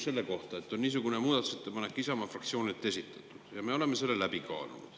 Isamaa fraktsioon on niisuguse muudatusettepaneku esitanud ja me oleme selle läbi kaalunud.